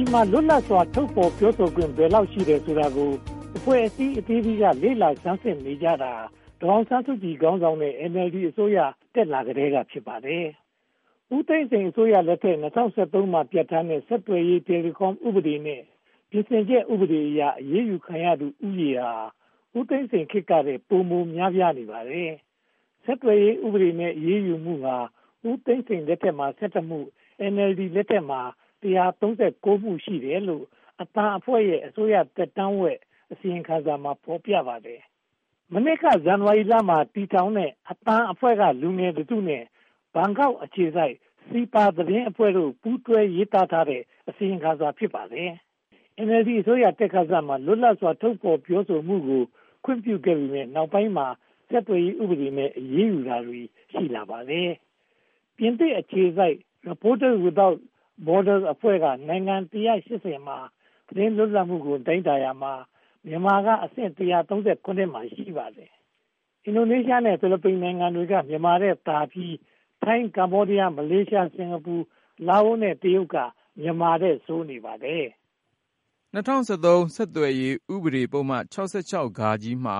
ြည်မှာ လွတ်လပ်စွာ ထုတ်ဖော်ပြောဆိုခွင့် ဘယ်လောက်ရှိတယ်ဆိုတာကို အဖွဲ့အစည်းအသီးသီးက လေ့လာဆန်းစစ်နေကြတာ ဒေါ်အောင်ဆန်းစုကြည် ခေါင်းဆောင်တဲ့ NLD အစိုးရတက်လာကတည်းက ဖြစ်ပါတယ်။ ဦးသိန်းစိန်အစိုးရလက်ထက် ၂၀၀၃ မှာ ပြဌာန်းထားတဲ့ ဆက်သွယ်ရေး Telecom ဥပဒေနဲ့ ၂၀၁၇ မှာ ပြဌာန်းထားတဲ့ ပြင်ဆင်ချက် ဥပဒေအရ အရေးယူခံရသူဦးရေဟာ ဦးသိန်းစိန်ခေတ်ကထက် ပိုမိုများပြားနေပါတယ်။ ဆက်သွယ်ရေးဥပဒေနဲ့ အရေးယူမှုဟာ ဦးသိန်းစိန်လက်ထက်မှာ (၁၁) မှု၊ NLD လက်ထက်မှာ (၁၂၉) မှု ရှိတယ်လို့ အသံအဖွဲ့ရဲ့ အစိုးရသက်တမ်းဝက် အစီရင်ခံစာမှာ ဖော်ပြထားပါတယ်။ မနှစ်က ဇန်နဝါရီလမှာ တည်ထောင်ခဲ့တဲ့ အသံအဖွဲ့က လူငယ်တစုနဲ့ ဘန်ကောက်အခြေစိုက် SEAPA သတင်းအဖွဲ့တို့ ပူးတွဲရေးသားတဲ့ အစီရင်ခံစာ ဖြစ်ပါတယ်။ NLD အစိုးရ တက်ခါစမှာ လွတ်လပ်စွာ ထုတ်ဖော်ပြောဆိုခွင့်ကို ခွင့်ပြုခဲ့ပေမယ့် နောက်ပိုင်းမှာ ဆက်သွယ်ရေးဥပဒေနဲ့ အရေးယူတာတွေ ရှိလာပါတယ်။ ပြင်သစ်အခြေစိုက် Reporters Without Borders, or Reporters Sans Frontières အဖွဲ့က နိုင်ငံပေါင်း (၁၈၀) ရဲ့ သတင်းလွတ်လပ်မှုကို တိုင်းတာရာမှာ မြန်မာနိုင်ငံက အဆင့် (၁၃၇) မှာ ရှိနေပါတယ်။ အင်ဒိုနီးရှားနဲ့ ဖိလစ်ပိုင်နိုင်ငံတွေက မြန်မာထက်သာပြီး ထိုင်း၊ ကမ္ဘောဒီးယား၊ မလေးရှား၊ စင်္ကာပူ နဲ့ တရုတ်တို့က မြန်မာထက် ဆိုးဝါးပါတယ်။ ၂၀၁၃ ဆက်သွယ်ရေးဥပဒေပုဒ်မ (၆၆-ဃ) မှာ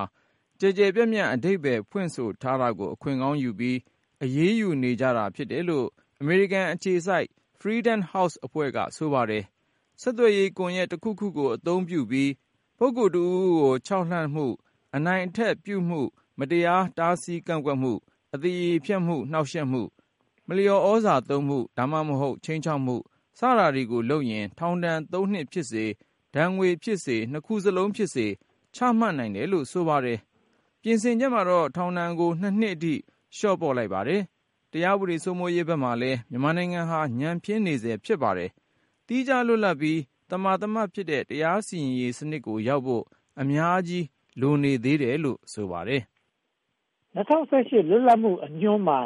ကျယ်ကျယ်ပြန့်ပြန့် အဓိပ္ပါယ်ဖွင့်ဆိုထားတာကို အခွင့်ကောင်းယူပြီး အရေးယူနေကြတာ ဖြစ်တယ်လို့ အမေရိကန်အခြေစိုက် Freedom House အဖွဲ့က ပြောဆိုပါတယ်။ ဆက်သွယ်ရေးကွန်ရက်တခုခုကို အသုံးပြုပြီး ပုဂ္ဂိုလ်တဦးဦးကို ခြောက်လှန့်မှု၊ အနိုင်အထက်ပြုမှု၊ မတရားတားဆီးကန့်ကွက်မှု၊ အသရေဖျက်မှု၊ နှောင့်ယှက်မှု၊ မလျော်သြဇာသုံးမှု (သို့မဟုတ်) ခြိမ်းခြောက်မှု စတာတွေလုပ်ရင် ထောင်ဒဏ်သုံးနှစ်ဖြစ်စေ၊ ငွေဒဏ်ဖြစ်စေ၊ ဒဏ်နှစ်ခုစလုံးဖြစ်စေ ချမှတ်နိုင်တယ်လို့ ဆိုပါတယ်။ ပြင်ဆင်ချက်ကတော့ ထောင်ဒဏ်ကို (၂) နှစ်အထိ လျော့ချထားပါတယ်။ တရားဥပဒေစိုးမိုးရေးဘက်မှာလည်း မြန်မာနိုင်ငံဟာ ညံ့ဖျင်းနေဆဲ ဖြစ်ပါတယ်။ သီးခြားလွတ်လပ်ပြီး သမာသမတ်ဖြစ်တဲ့ တရားစီရင်ရေးစနစ်ကိုရောက်ဖို့ အများကြီး လိုသေးတယ်လို့ ဆိုပါတယ်။ ၂၀၁၈ လွတ်လပ်မှုအညွန်းမှာ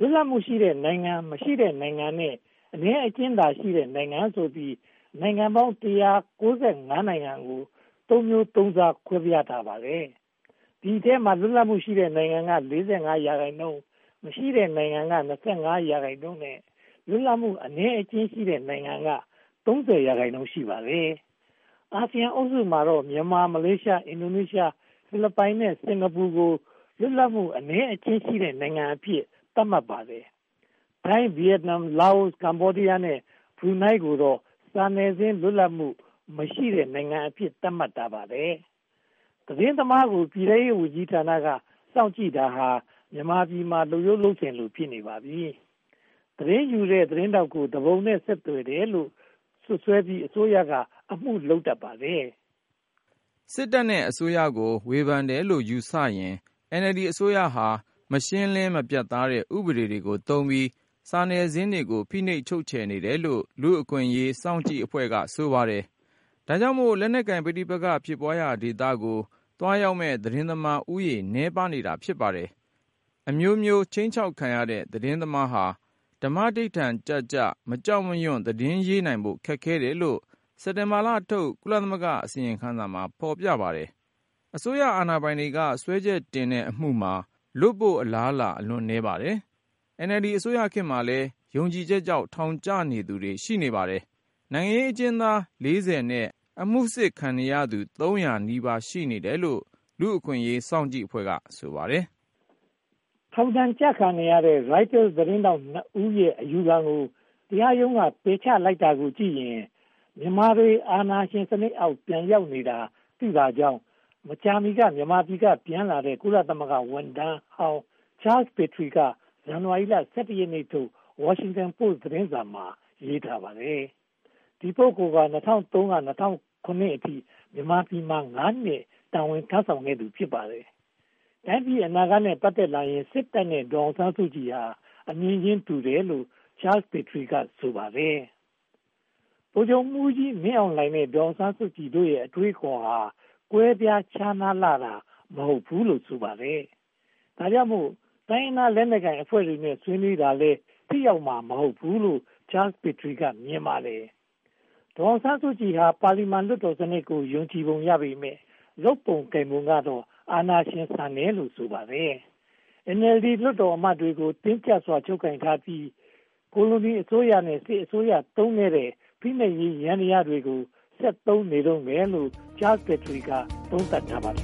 လွတ်လပ်မှုရှိတဲ့နိုင်ငံ၊ မရှိတဲ့နိုင်ငံနဲ့ အနည်းအကျဉ်းသာရှိတဲ့ နိုင်ငံဆိုပြီး နိုင်ငံပေါင်း (၁၉၅) နိုင်ငံကို သုံးမျိုးသုံးစား ခွဲခြားထားပါတယ်။ ဒီအထဲမှာ လွတ်လပ်မှုရှိတဲ့ နိုင်ငံက (၄၅) ရာခိုင်နှုန်း၊ မရှိတဲ့နိုင်ငံက (၂၅) ရာခိုင်နှုန်းနဲ့ လွတ်လပ်မှု အနည်းအကျဉ်းရှိတဲ့ နိုင်ငံက (၃၀) ရာခိုင်နှုန်း ရှိပါတယ်။ အာဆီယံအုပ်စုမှာတော့ မြန်မာ၊ မလေးရှား၊ အင်ဒိုနီးရှား၊ ဖိလစ်ပိုင် နှင့် စင်္ကာပူနိုင်ငံတို့ကို လွတ်လပ်မှုအနည်းအကျဉ်းသာရှိတဲ့ နိုင်ငံသာအဖြစ် သတ်မှတ်ပါတယ်။ ထိုင်း၊ ဗိယက်နမ်၊ လာအို၊ ကမ္ဘောဒီးယား နဲ့ ဘရူးနိုင်းတို့ကိုတော့ စာနယ်ဇင်း လွတ်လပ်မှုမရှိတဲ့ နိုင်ငံများအဖြစ် သတ်မှတ်ထားပါတယ်။ သတင်းသမားကို ပြည်ထဲရေးဌာနက စောင့်ကြည့်တာဟာ မြန်မာပြည်မှာ လုပ်ရိုးလုပ်စဉ်လို ဖြစ်နေပါပြီ။ သတင်းယူတဲ့ သတင်းထောက်ကို သူပုန်နဲ့ ဆက်သွယ်တယ်လို့ စွပ်စွဲပြီး အစိုးရက အမှုလုပ်တတ်ပါတယ်။ စစ်တပ်နဲ့ အစိုးရကို ဝေဖန်တယ်လို့ယူဆရင် NLD အစိုးရဟာ မရှင်းလင်းမပြတ်သားတဲ့ ဥပဒေတွေကိုသုံးပြီး စာနယ်ဇင်းတွေကို ဖိနှိပ်ချုပ်ခြယ်နေတယ်လို့ လူ့အခွင့်အရေးစောင့်ကြည့်ရေးအဖွဲ့က ဆိုပါတယ်။ ဒါကြောင့်မို့ လက်နက်ကိုင်ပဋိပက္ခ ဖြစ်ပွားရာဒေသတွေကို သွားရောက်မယ့် သတင်းသမားဦးရေ နည်းပါးနေပါတယ်။ အမျိုးမျိုးခြိမ်းခြောက်ခံရတဲ့ သတင်းသမားဟာ ဓမ္မဓိဌာန်ကျကျ မကြောက်မရွံ သတင်းရေးနိုင်ဖို့ ခက်ခဲတယ်လို့ စက်တင်ဘာလထုတ် ကုလသမဂ္ဂအစီရင်ခံစာမှာ ဖော်ပြထားပါတယ်။ အစိုးရအာဏာပိုင်တွေက စွဲချက်တင်တဲ့အမှုမှာလွတ်ဖို့ အလားအလာ အလွန်နည်းပါတယ်။ NLD အစိုးရခေတ်မှာလည်း ယုံကြည်ချက်ကြောင့် ထောင်ကျနေသူတွေ ရှိပါတယ်။ နိုင်ငံရေးအကျဉ်းသား (၄၀) နဲ့ အမှုစစ်ခံနေရသူ (၃၀၀) နီးပါးရှိတယ်လို့ လူ့အခွင့်အရေးစောင့်ကြည့်ရေးအဖွဲ့က ဆိုပါတယ်။ ထောင်ဒဏ်ကျခံနေရတဲ့ Reuters သတင်းထောက်နှစ်ဦးရဲ့ အယူခံကို တရားရုံးက ပယ်ချလိုက်တာကိုကြည့်ရင် မြန်မာတွေ အာဏာရှင်စနစ်အောက် ပြန်ရောက်နေတာသိသာကြောင်း မကြာမီ မြန်မာပြည်က ပြန်လာတဲ့ ကုလသမဂ္ဂဝန်ထမ်းဟောင်း Charles Petrie က ဇန်နဝါရီလ (၁၁) ရက်နေ့ထုတ် Washington Post သတင်းစာမှာ ရေးသားထားပါတယ်။ ဒီပုဂ္ဂိုလ်ဟာ (၂၀၀၃-၂၀၀၇) အထိ မြန်မာပြည်မှာ (၅) နှစ် တာဝန်ထမ်းဆောင်ခဲ့သူ ဖြစ်ပါတယ်။ တိုင်းပြည်အနာဂတ်နဲ့ ပတ်သက်လာရင် စစ်တပ်နဲ့ ဒေါ်အောင်ဆန်းစုကြည်တို့ဟာ အမြင်တူကြတယ်လို့ Charles Petrie က ဆိုပါတယ်။ ဗိုလ်ချုပ်မှူးကြီးမင်းအောင်လှိုင်နဲ့ ဒေါ်အောင်ဆန်းစုကြည်တို့ရဲ့ အတွေးအခေါ်ဟာ ကွဲပြားခြားနားလှတာ မဟုတ်ဘူးလို့ ဆိုပါတယ်။ ဒါကြောင့်မို့ တိုင်းရင်းသားလက်နက်ကိုင်အဖွဲ့တွေနဲ့ ဆွေးနွေးတာလည်း ထိရောက်မှာ မဟုတ်ဘူးလို့ Charles Petrie က မြင်ပါတယ်။ ဒေါ်အောင်ဆန်းစုကြည်ဟာ ပါလီမန်လွှတ်တော်စနစ်ကို ယုံကြည်ပုံရပေမယ့် လုပ်ပုံကိုင်ပုံတွေကတော့ အာဏာရှင်ဆန်တယ်လို့ ဆိုပါတယ်။ NLD လွှတ်တော်အမတ်တွေကို တင်းကျပ်စွာ ချုပ်ကိုင်ထားပြီး ကိုလိုနီအစိုးရနဲ့ စစ်အစိုးရ သုံးခဲ့တဲ့ ဖိနှိပ်ရေးယန္တရားတွေကို ဆက်သုံးနေတုန်းပဲလို့ Charles Petrie က သုံးသပ်ထားပါတယ်